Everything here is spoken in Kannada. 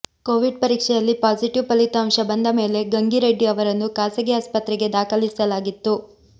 ಕೋವಿಡ್ ಪರೀಕ್ಷೆಯಲ್ಲಿ ಪಾಸಿಟಿವ್ ಫಲಿತಾಂಶ ಬಂದ ಮೇಲೆ ಗಂಗಿ ರೆಡ್ಡಿ ಅವರನ್ನು ಖಾಸಗಿ ಆಸ್ಪತ್ರೆಗೆ ದಾಖಲಾಗಿಸಲಾಗಿತ್ತು